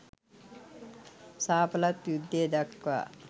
ශාපලත් යුද්ධය දක්වා